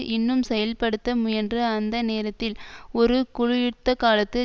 இன்னும் செயல்படுத்த முயன்ற அந்த நேரத்தில் ஒரு குளிர்யுத்தகாலத்து